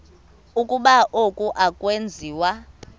ukuba oku akwenziwa